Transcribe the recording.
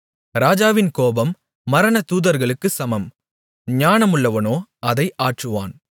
ராஜாவின் கோபம் மரணதூதர்களுக்குச் சமம் ஞானமுள்ளவனோ அதை ஆற்றுவான்